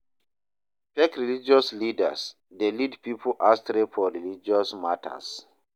Fake religious leaders de lead pipo astray for religious matters